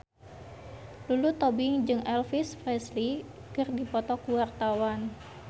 Lulu Tobing jeung Elvis Presley keur dipoto ku wartawan